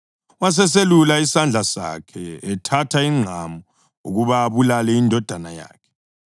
Waseselula isandla sakhe ethatha ingqamu ukuba abulale indodana yakhe.